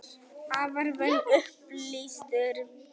Afar vel upplýstur.